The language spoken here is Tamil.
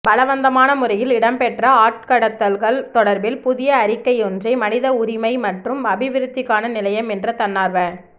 பலவந்தமான முறையில் இடம்பெற்ற ஆட்கடத்தல்கள் தொடர்பில் புதிய அறிக்கையொன்றை மனித உரிமை மற்றும் அபிவிருத்திக்கான நிலையம் என்ற தன்னார்வ